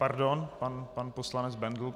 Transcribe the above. Pardon, pan poslanec Bendl.